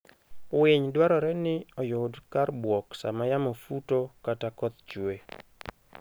Winy dwarore ni oyud kar buok sama yamo futo kata koth chwe.